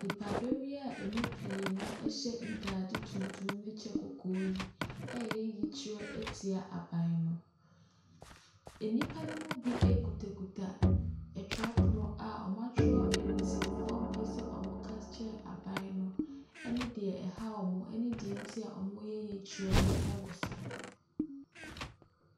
Nnipa dɔm yi a ɛmu pii no hyɛ ntaade tuntum ne kyɛ kɔkɔɔ yi ɛreyɛ yikyerɛ akyerɛ aban no. Nnipa no bi kitakita twerɛpono a wɔatwerɛ nsɛmfua a wɔpɛ sɛ wɔka kyerɛ aban no ɛne deɛ ɛha wɔn ɛne deɛ nti a wɔreyɛ yikyerɛ no wɔ so.